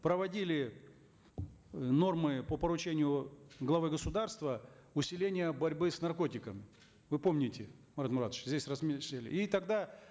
проводили э нормы по поручению главы государства усиления борьбы с наркотиками вы помните марат муратович здесь и тогда